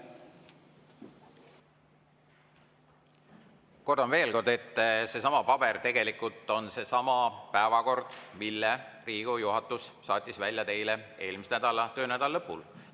Kordan veel kord, et see paber on seesama päevakord, mille Riigikogu juhatus saatis teile eelmise töönädala lõpul.